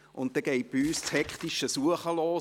Dann geht bei uns das hektische Suchen los: